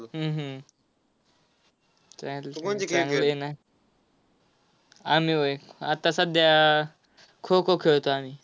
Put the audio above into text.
हम्म हम्म चालतंय, चांगलं आहे ना. आम्ही व्हय, आता सध्या खो-खो खेळतो आम्ही.